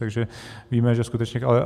Takže víme, že skutečně...